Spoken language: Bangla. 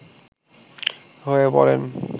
হয়ে পড়েন